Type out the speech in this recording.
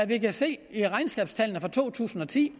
vi kan se i regnskabstallene for to tusind og ti